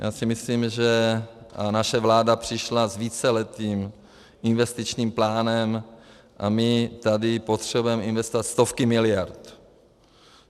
Já si myslím, a naše vláda přišla s víceletým investičním plánem a my tady potřebujeme investovat stovky miliard.